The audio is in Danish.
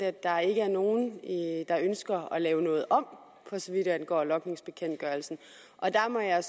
at der ikke er nogen der ønsker at lave noget om for så vidt angår logningsbekendtgørelsen der må jeg